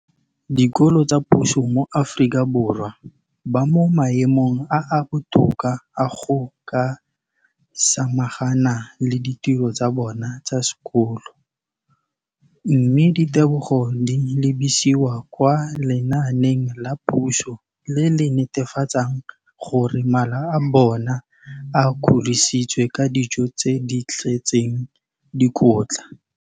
dikolo tsa puso mo Aforika Borwa ba mo maemong a a botoka a go ka samagana le ditiro tsa bona tsa sekolo, mme ditebogo di lebisiwa kwa lenaaneng la puso le le netefatsang gore mala a bona a kgorisitswe ka dijo tse di tletseng dikotla.